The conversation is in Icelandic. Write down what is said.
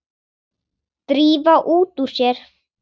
Drífa út úr sér.